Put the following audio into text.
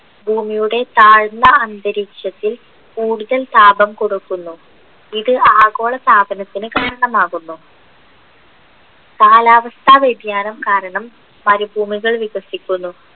ഭൂമിയുടെ താഴ്ന്ന അന്തരീക്ഷത്തിൽ കൂടുതൽ താപം കൊടുക്കുന്നു ഇത് ആഗോളതാപനത്തിന് കാരണമാകുന്നു കാലാവസ്ഥ വ്യതിയാനം കാരണം മരുഭൂമികൾ വികസിക്കുന്നു